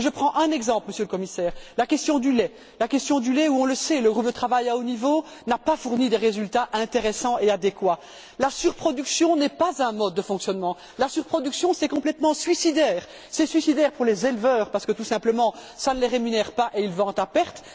Je prends un exemple, Monsieur le Commissaire, celui de la question du lait on le sait, le groupe de travail à haut niveau n'a pas fourni là des résultats intéressants et adéquats. La surproduction n'est pas un mode de fonctionnement, la surproduction, c'est complètement suicidaire. C'est suicidaire pour les éleveurs, parce que cela ne les rémunère pas et ils vendent à perte.